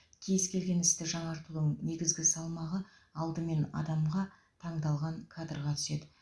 кез келген істі жаңартудың негізгі салмағы алдымен адамға таңдалған кадрға түседі